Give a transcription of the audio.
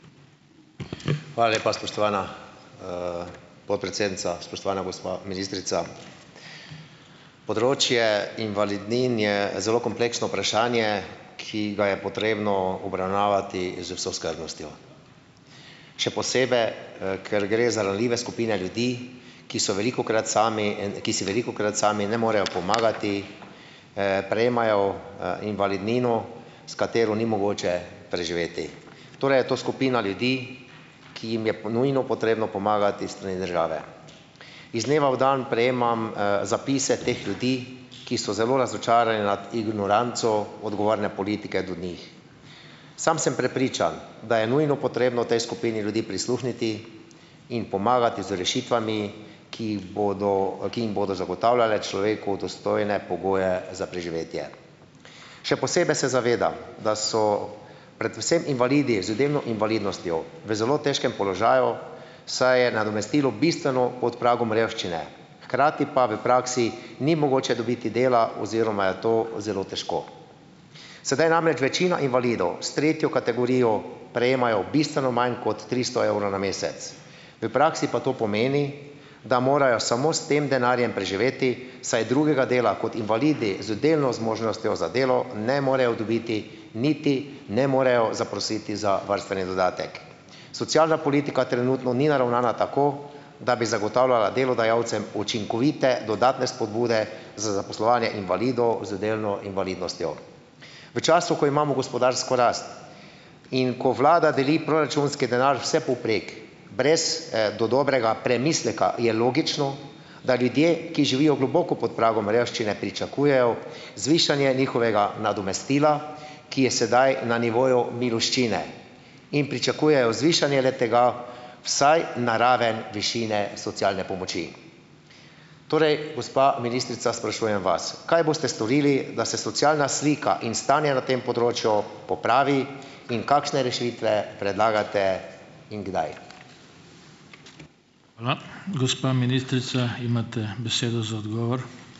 Hvala lepa, spoštovana, podpredsednica, spoštovana gospa ministrica. Področje invalidnin je zelo kompleksno vprašanje, ki ga je potrebno obravnavati z vso skrbnostjo. Še posebej, ker gre na ranljive skupine ljudi, ki so velikokrat sami, ki si velikokrat sami ne morejo pomagati. Prejemajo, invalidnino, s katero ni mogoče preživeti. Torej je to skupina ljudi, ki jim je po nujno potrebno pomagati s strani države. Iz dneva v dan prejemam, zapise teh ljudi, ki so zelo razočarani nad ignoranco odgovorne politike do njih. Sam sem prepričan, da je nujno potrebno tej skupini ljudi prisluhniti, jim pomagati z rešitvami, ki jih bodo, ki jim bodo zagotavljale človeku dostojne pogoje za preživetje. Še posebej se zavedam, da so predvsem invalidi z delno invalidnostjo v zelo težkem položaju, saj je nadomestilo bistveno pod pragom revščine, hkrati pa v praksi ni mogoče dobiti dela oziroma je to zelo težko. Sedaj namreč večina invalidov s tretjo kategorijo prejemajo bistveno manj kot tristo evrov na mesec. V praksi pa to pomeni, da morajo samo s tem denarjem preživeti, saj drugega dela kot invalidi z delno zmožnostjo za delo ne morejo dobiti, niti ne morejo zaprositi za varstveni dodatek. Socialna politika trenutno ni naravnana tako, da bi zagotavljala delodajalcem učinkovite dodatne spodbude za zaposlovanje invalidov z delno invalidnostjo. V času, ko imamo gospodarsko rast in ko vlada deli proračunski denar vsepovprek, brez, do dobrega premisleka je logično, da ljudje, ki živijo globoko pod pragom revščine pričakujejo zvišanje njihovega nadomestila, ki je sedaj na nivoju miloščine, in pričakujejo zvišanje le-tega vsaj na raven višine socialne pomoči. Torej, gospa ministrica, sprašujem vas, kaj boste storili, da se socialna slika in stanje na tem področju popravi, in kakšne rešitve predlagate in kdaj.